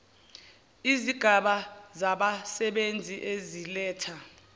izigaba zabasebenzi eziletha